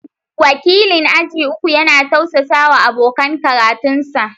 Wakilin aji uku yana tausasawa abokan karatunsa